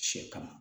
Sɛ kama